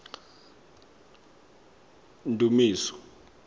ndumiso